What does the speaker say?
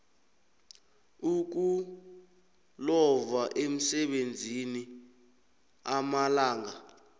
ukulova emsebenzini amalanga